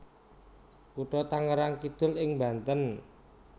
Kutha Tangerang Kidul ing Banten